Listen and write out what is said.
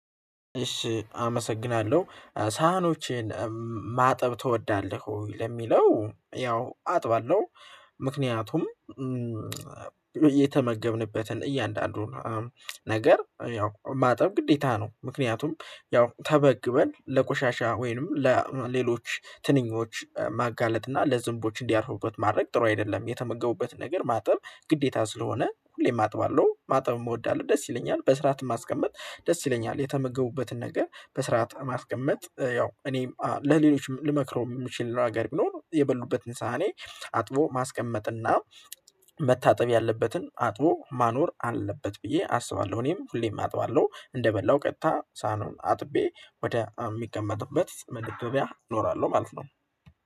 እሺ አመሰግናለሁ ሳህኖችን ማጠብ ትወዳለህ ወይ? ለሚለው ያው አጥባለሁ። ምክንያቱም የተመገብንበትን እያንዳንዱን ነገር ያው ማጠብ ግዴታ ነው። ምክንያቱም ያው ተመግበን ለቆሻሻ ወይንም ለሌሎች ትንኞች ማጋለጥ እና ለዝንቦች እንዲያርፉበት ማድረግ ጥሩ አይደለም። የተመገቡበትን ነገር ማጠብ ግዴታ ስለሆነ ሁሌም አጥባለሁ ማጥብ እወዳለሁ ደስ ይለኛል። በስርዓትም ማስቀመጥ ደስ ይለኛል የተመገቡበትን ነገር በስርዓት ማስቀመጥ ያው እኔም ለሌሎችም ልመክረው የምችል ነገር ነገቢኖር የበሉበትን ሳህኔ አጥቦ ማስቀመጥና መታጠብ ያለበትን አጥቦ ማኖር አለበት ብዬ አስባለሁ። እኔም ሁሌም አጥባለሁ እንደበላሁ ቀጥታ ሳኑን አጥቤ ወደ የሚቀመጥበት መገቢያ ኖራለሁ ማለት ነው